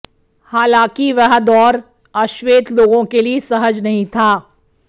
हालांकि वह दौर अश्वेत लोगों के लिए सहज नहीं था